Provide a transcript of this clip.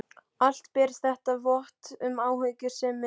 Allt ber þetta vott um umhyggjusemi, sagði ég.